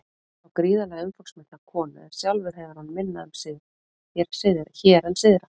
Hann á gríðarlega umfangsmikla konu en sjálfur hefur hann minna um sig hér en syðra.